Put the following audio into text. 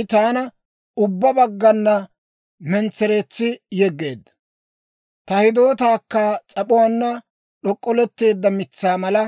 I taana ubbaa baggana mentsereetsi yegeedda; ta hidootaakka s'ap'uwaanna d'ok'k'oletteedda mitsaa mala